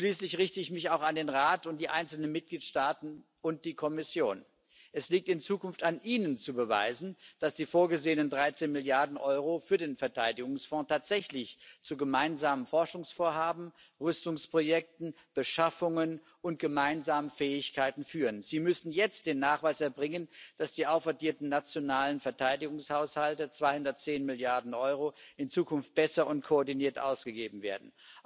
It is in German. Schließlich richte ich mich auch an den Rat, die einzelnen Mitgliedstaaten und die Kommission Es liegt in Zukunft an Ihnen zu beweisen, dass die vorgesehenen 13 Milliarden Euro für den Verteidigungsfonds tatsächlich zu gemeinsamen Forschungsvorhaben, Rüstungsprojekten, Beschaffungen und gemeinsamen Fähigkeiten führen. Sie müssen jetzt den Nachweis erbringen, dass die aufaddierten nationalen Verteidigungshaushalte, 210 Milliarden Euro, in Zukunft besser und koordiniert ausgegeben werden.